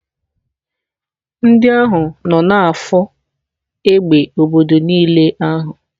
Ndị ahụ nọ na-afụ égbè obodo n'ili ahụ.